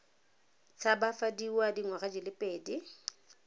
tshabafadiwa dingwaga di le pedi